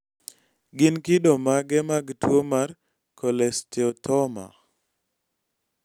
gin kido mage mag tuwo mar cholesteatoma ?